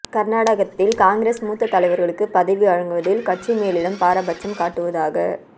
கர்நாடகத்தில் காங்கிரஸ் மூத்த தலைவர்களுக்கு பதவி வழங்குவதில் கட்சி மேலிடம் பாரபட்சம் காட்டுவதாக